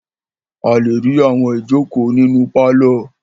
A le rí àwọn ìjókòó nínú pálọ̀.